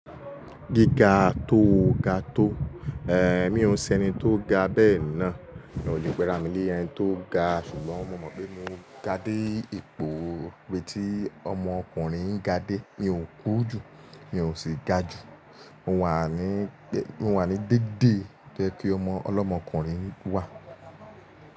Gíga tó ga tó, eh mi ò n ṣe ẹni tó ga bẹ́ẹ̀ ná. Mi o le p'ẹ́ra mi ni ẹni tó ga ṣùgbọ́n mo mọ̀ pé mo ga dé ipò ibi tí ọmọ ọkùnrin ń ga dé. Mi ò kúru jù, mi ò sì ga jù. Mo wà ní, mo wà ní dédé ibi to ye kí ọlọ́mọkùnrin wà.